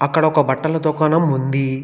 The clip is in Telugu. అక్కడ ఒక బట్టల దుకాణం ఉంది.